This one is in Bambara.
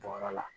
Jɔyɔrɔ la